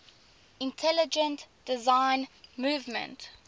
intelligent design movement